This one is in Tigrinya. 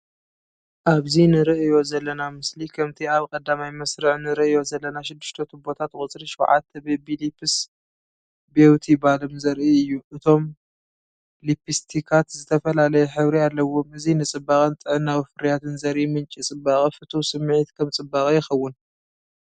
ኣብዚ ንርእዮ ዘለና ምስሊ ከምቲ ኣብ ቀዳማይ መስርዕ ንርእዮ ዘለና ሽዱሽተ ቱቦታት ቁጽሪ 7 ቢቢ ሊፕስ ቢውቲ ባልም ዘርኢ እዩ። እቶም ሊፕስትካት ዝተፈላለየ ሕብሪ ኣለዎም። እዚ ንጽባቐን ጥዕናዊ ፍርያትን ዘርኢ ምንጪ ጽባቐ ፍቱው ስምዒት ከም ጽባቐ ይኸውን።